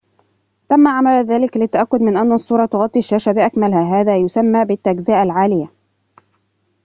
تم عمل ذلك للتأكد من أن الصورة تغطي الشاشة بأكملها هذا يُسمى بالتجزئة العالية